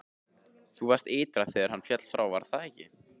Þú varst ytra þegar hann féll frá, var það ekki?